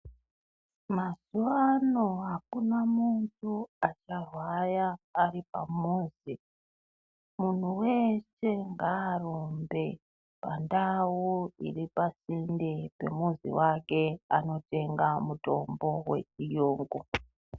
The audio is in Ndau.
Mazuvano hakuna muntu acharwara ari pamuzi. Munhu wese ngaarumbe pandau iri pasinde pemuzi wake anotenga mutombo wechiyungu.